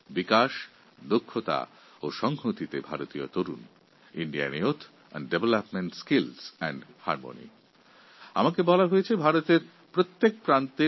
আমি জানতে পেরেছি এই বছরের থিম হল Indian youth of development skill and harmony অর্থাৎ উন্নয়ন উৎকর্ষ এবং সৌহার্দের প্রতীক ভারতীয় যুবা